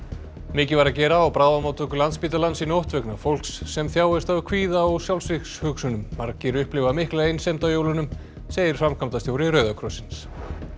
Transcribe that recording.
mikið var að gera á bráðamóttöku Landspítalans í nótt vegna fólks sem þjáist af kvíða og margir upplifa mikla einsemd á jólunum segir framkvæmdastjóri Rauða krossins